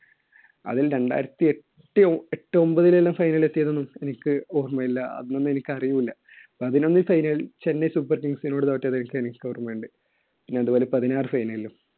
അതിൽ രണ്ടായിരത്തി എട്ട്, എട്ട് ഒൻപതിലെല്ലാം final ൽ എത്തിയതൊന്നും എനിക്ക് ഓർമ്മയില്ല, അന്നൊന്നും എനിക്ക് അറിവുമില്ല. പതിനൊന്ന് final ൽ Chennai Super Kings നോട് തോറ്റത് ശരിക്ക് എനിക്ക് ഓർമ്മയുണ്ട്. പിന്നെ അതുപോലെ പതിനാറ് final ലും.